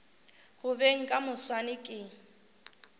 go beng ka moswane ke